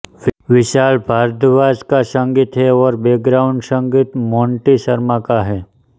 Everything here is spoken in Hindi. विशाल भारद्वाज का संगीत है और बैकग्राउंड संगीत मोंटी शर्मा का है